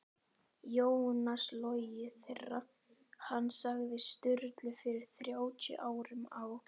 Jónas logið þegar hann sagði Sturlu fyrir þrjátíu árum á